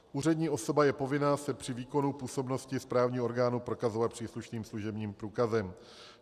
Úřední osoba je povinna se při výkonu působnosti správního orgánu prokazovat příslušným služebním průkazem.